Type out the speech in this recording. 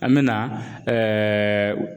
An mɛna